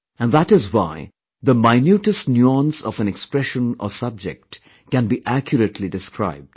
And that is why the minutest nuance of an expression or subject can be accurately described